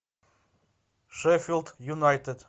шеффилд юнайтед